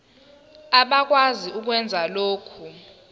abakwazi ukwenza lokhu